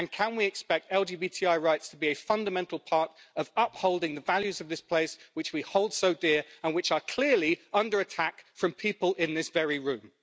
And can we expect LGBTI rights to be a fundamental part of upholding the values of this place which we hold so dear, and which are clearly under attack from people in this very room.